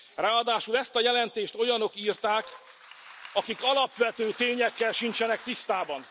Ráadásul ezt a jelentést olyanok írták, akik az alapvető tényekkel sincsenek tisztában.